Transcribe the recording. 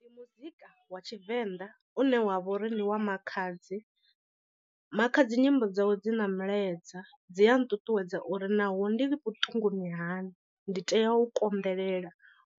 Ndi muzika wa tshivenḓa une wa vhori ndiwa Makhadzi. Makhadzi nyimbo dzawe dzi na mulaedza dzi a nṱuṱuwedza uri naho ndi vhuṱunguni hani ndi tea u konḓelela